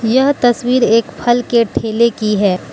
यह तस्वीर एक फल के ठेले की है।